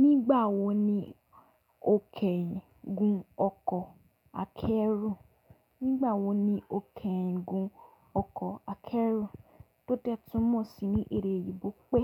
Nigbawo ni o keyiin gun oko akeru? Tó dẹ́ túmọ̀ sí ní èdè eyinbo pé